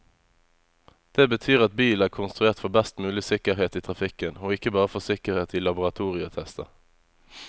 Det betyr at bilen er konstruert for best mulig sikkerhet i trafikken, og ikke bare for sikkerhet i laboratorietester.